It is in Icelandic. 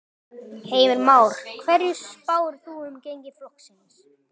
Heimir Már: Hverju spáirðu þá um gengi flokksins?